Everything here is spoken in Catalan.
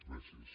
gràcies